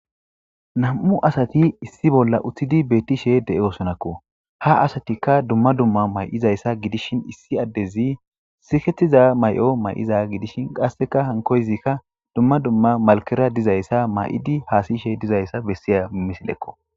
Nam7u asathi issi bolla uththidi beeththishee de7oosonakkoo; ha asathikka dumma dumma may7izayssa gidishin issi addezi sikeththiza may7o mayiza gidishin qassika hankko izika dumma dumma malkkera dizayssa may7idi has7ishe dizayssa bessiya misilekko.